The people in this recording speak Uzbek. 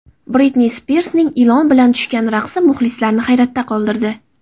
Britni Spirsning ilon bilan tushgan raqsi muxlislarni hayratda qoldirdi .